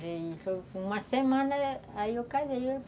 Foi uma semana, aí eu casei.